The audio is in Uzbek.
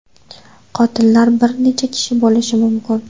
Qotillar bir necha kishi bo‘lishi mumkin.